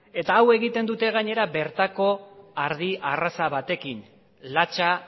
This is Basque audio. eta hau egiten duten gainera bertako arraza batekin latxa